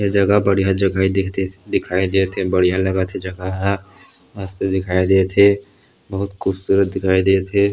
ये जगह बढ़िया जगह दिखथे दिखाई देथ हे बढ़िया लगत हे जगह ह मस्त दिखाई देथे बहुत खूबसूरत दिखाई देत हे।